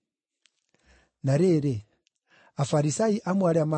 Na rĩrĩ, Afarisai amwe arĩa maatũmĩtwo